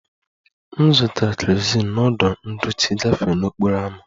M zụtara kerozin n'ọdụ ndochi gafee n'okporo ámá